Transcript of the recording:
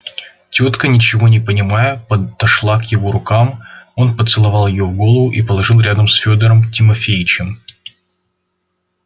тётка ничего не понимая подошла к его рукам он поцеловал её в голову и положил рядом с фёдором тимофеичем